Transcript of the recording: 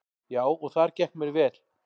Já, og þar gekk mér vel.